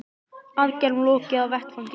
Aðgerðum lokið á vettvangi